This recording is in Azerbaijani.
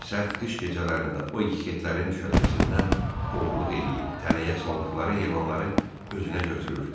Sərt qış gecələrində o ixetlərin düşərgəsindən oğurluq edir, tələyə saldıqları heyvanları özünə götürür.